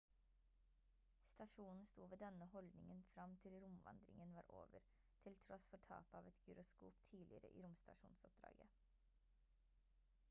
stasjonen sto ved denne holdningen frem til romvandringen var over til tross for tapet av et gyroskop tidligere i romstasjonoppdraget